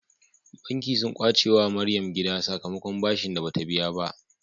Banki sun kwace wa maryam gida sakamakon bashin da bata biya ba